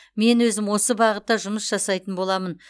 мен өзім осы бағытта жұмыс жасайтын боламын